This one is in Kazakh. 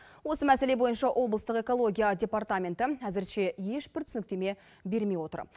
осы мәселе бойынша облыстық экология департаменті әзірше ешбір түсініктеме бермей отыр